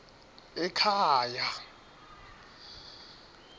ekhaya